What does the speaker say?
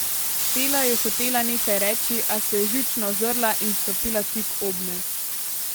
Fela je hotela nekaj reči, a se je živčno ozrla in stopila tik obme.